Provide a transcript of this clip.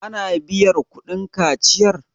ana biyar kudin kaciyar?